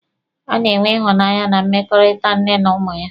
A na-enwe ịhụnanya na mmekọrịta nne na ụmụ ya.